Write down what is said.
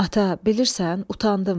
Ata, bilirsən, utandım.